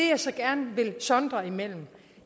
jeg så gerne vil sondre imellem